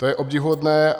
To je obdivuhodné.